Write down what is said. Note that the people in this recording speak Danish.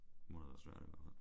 Må da være svært i hvert fald